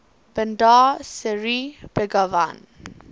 bandar seri begawan